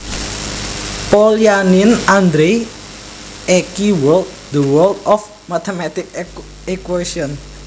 Polyanin Andrei EqWorld The World of Mathematical Equations